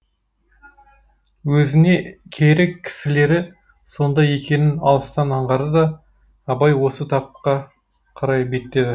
өзіне керек кісілері сонда екенін алыстан аңғарды да абай осы тапқа қарай беттеді